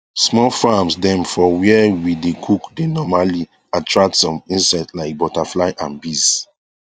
small farms dem for where we dae cook dae normally attract some insects like butterfly and bees